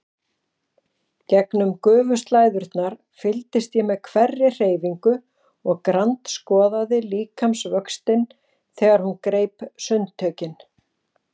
Gegnum gufuslæðurnar fylgdist ég með hverri hreyfingu og grandskoðaði líkamsvöxtinn þegar hún greip sundtökin.